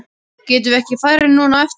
Getum við ekki farið núna á eftir?